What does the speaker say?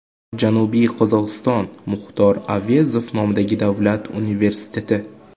Janubiy Qozog‘iston Muxtor Avezov nomidagi davlat universiteti.